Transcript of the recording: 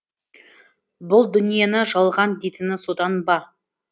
бұл дүниені жалған дейтіні содан ба